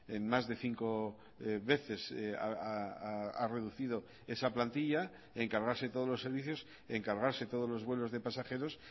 en más de cinco veces ha reducido esa plantilla en cargarse todos los servicios en cargarse todos los vuelos de pasajeros